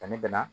Danni bɛ na